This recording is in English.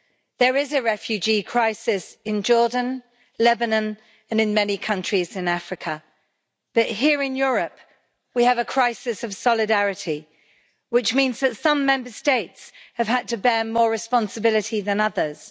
There is a refugee crisis in Jordan, Lebanon and in many countries in Africa, but here in Europe we have a crisis of solidarity, which means that some Member States have had to bear more responsibility than others.